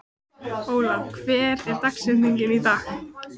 Ólaf, hver er dagsetningin í dag?